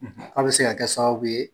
K' a bɛ se ka kɛ sababu ye